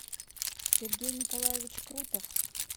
сергей николаевич крутов